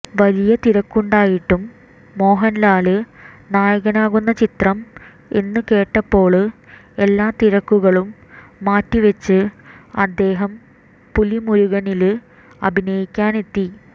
വലിയ തിരക്കുണ്ടായിട്ടും മോഹന്ലാല് നായകനാകുന്ന ചിത്രം എന്ന് കേട്ടപ്പോള് എല്ലാ തിരക്കുകളും മാറ്റിവെച്ച് അദ്ദേഹം പുലിമുരുകനില് അഭിനയിക്കാനെത്തി